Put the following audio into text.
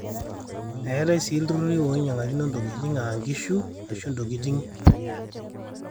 eetai sii ilturruri oinyang'qkino intokitin aa inkishu aashu intokitin yaaji